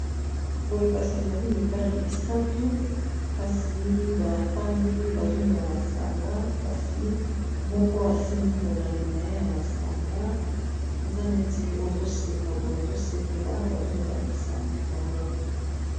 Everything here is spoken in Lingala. Boye kasi ezali mibale misato kasi bafandi bazomela masanga kasi moko asimbi molangi na ye ya masanga eza neti azoseka boye azosepela bazomela masanga na bango.